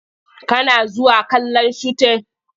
Kana zuwa kallon shutin?